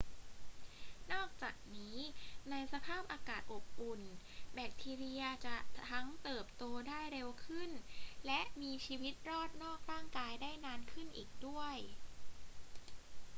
นอกจากนี้ ในสภาพอากาศอบอุ่น แบคทีเรียจะทั้งเติบโตได้เร็วขึ้นและมีชีวิตรอดนอกร่างกายได้นานขึ้นอีกด้วย